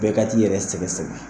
Bɛɛ ka t'i yɛrɛ sɛgɛsɛgɛ